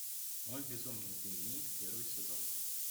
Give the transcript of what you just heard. мой безумный дневник первый сезон